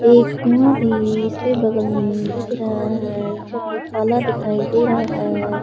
एक कुंआ भी इसके बगल में दिख रहा है जो कि काला दिखाई दे रहा है।